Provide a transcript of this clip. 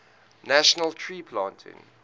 national tree planting